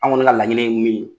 Anw ŋɔni ŋa laɲini ye min ye